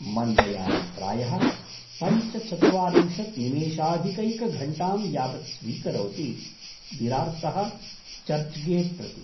मन्दयानं प्रायः पञ्चचत्वारिंशत् निमेषाधिकैकघण्टां यावत् स्वीकरोति, विरार्तः चर्च्गेट् प्रति।।